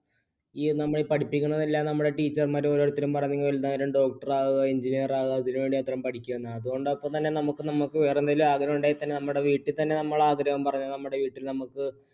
ഈ നമ്മളെ പഠിപ്പിക്കണ എല്ലാ teacher മാരും ഓരോരുത്തരും പറഞ്ഞങ്ങു doctor ആവുക engineer ആവുക ഇതിനു വേണ്ടി പഠിക്കുക വേറെ എന്തെങ്കിലും ആഗ്രഹമുണ്ടെങ്കിൽത്തന്നെ നമ്മടെ വീട്ടിൽത്തന്നെ നമ്മൾ ആഗ്രഹം പറഞ്ഞാൽ നമ്മടെ വീട്ടിൽ നമ്മുക്ക്